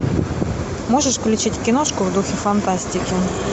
можешь включить киношку в духе фантастики